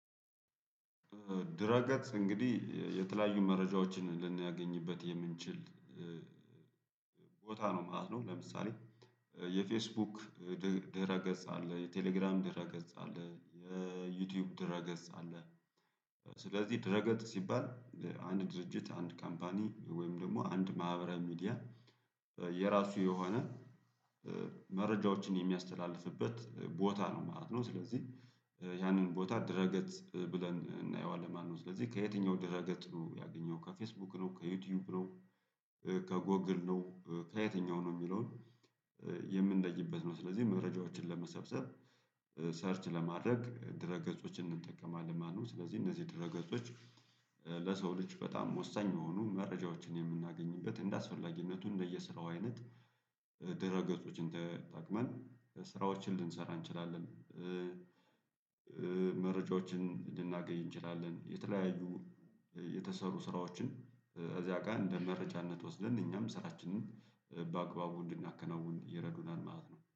ድረገፅ እንግዲህ የተለያዩ መረጃዎችን ልናገኝበት የምንችል። ቦታ ነው ማለት ነው ለምሳሌ የፌስቡክ ድረ ገጽ አለ የቴሌግራም ድረ ገጽ አለ የዩቲዩብ ድረ ገጽ አለ። ስለዚህ ድረ ገጽ ሲባል አንድ ድርጅት አንድ ካምፓኒ ወይም ደግሞ አንድ ማህበራዊ ሚዲያ የራሱ የሆነ መረጃዎችን የሚያስተላልፍበት ቦታ ነው ማለት ነው። ስለዚህ ያንን ቦታ ድረገፅ ብለን እናየዋለን ማለት ነው። ስለዚህ ከየትኛው ድረገጽ ያገኘው ከፌስቡክ ነው ከዩቲዩብ ነው ከጎግል ነው ከየትኛው ነው የሚለውን የምንለይበት ነው። ስለዚህ መረጃዎችን ለመሰብሰብ ሰርች ለማድረግ ድረ ገጾችን እንጠቀማለን። ማነው ስለዚህ እነዚህ ድረ ገጾች ለሰው ልጅ በጣም ወሳኝ መሆኑን መረጃዎችን የምናገኝበት እንደአስፈላጊነቱ እንደየስራው አይነት ድረ ገጾችን ተጠቅመን ስራዎችን ልንሰራ እንችላለን። መረጃዎችን ልናገኝ እንችላለን። የተለያዩ የተሰሩ ስራዎችን እዚያ ቀን እንደ መረጃነት ወስደን እኛም ስራችንን በአግባቡ እንድናከናውን ይረዱናል ማለት ነው